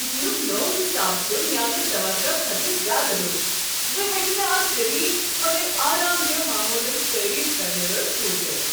کچنک نوٚو حساب چھ میانہ توقع کھۄتہٕ زیادٕ رُت۔ بہٕ ہیکہٕ نہٕ اتھ جدید مگر آرام دہ ماحولس تعریف کرنہ رُس روزِتھ۔